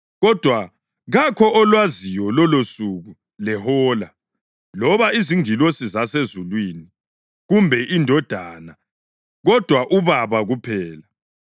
“Kodwa kakho olwaziyo lolosuku lehola, loba izingilosi zasezulwini, kumbe iNdodana, kodwa uBaba kuphela.